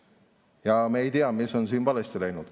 Ja me ei tea, mis on siin valesti läinud.